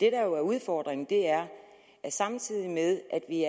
er udfordringen er at samtidig med at vi